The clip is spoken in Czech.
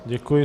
Děkuji.